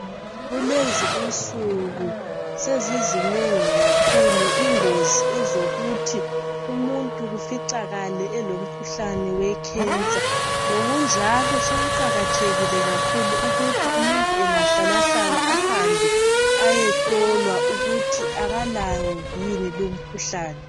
kulezi insuku sezizinengi kakhulu ingozi ezokuthi umuntu kuficakale elomkhuhlane we cancer ngokunjalo sokuqhakathekile kakhulu ukuthi umuntu engahlalahlala ehambe eyehlola ukuthi akalawo yini lowo mkhuhlane